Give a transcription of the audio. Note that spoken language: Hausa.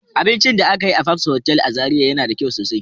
Abincin da aka yi a fabs hotel a zarai yana da kyau sosai.